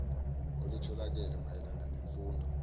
olutholakele mayela nemfundo